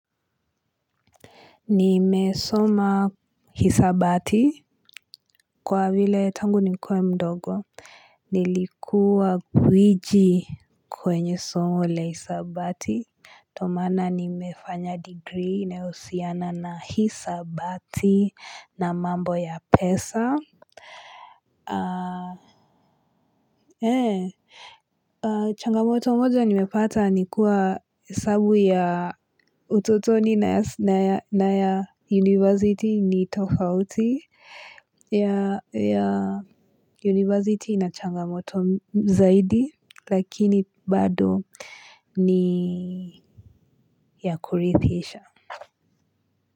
Nimesoma hisabati kwa vile tangu nikuwe mdogo nilikuwa gwiji kwenye somo la hisabati ndio maana nimefanya degree inayohusiana hisabati na mambo ya pesa. Ah changamoto moja nimepata ni kuwa hesabu ya utotoni na ya university ni tofauti ya university ichangamoto zaidi lakini bado ni ya kurithisha.